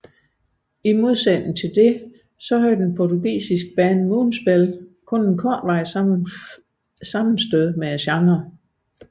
I modsætning hertil havde det portugisiske band Moonspell kun et kortvarigt sammenstød med genren